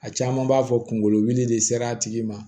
A caman b'a fɔ kunkolo wuli de sera a tigi ma